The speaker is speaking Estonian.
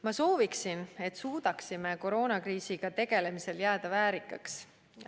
Ma sooviksin, et suudaksime koroonakriisiga tegelemisel jääda väärikaks.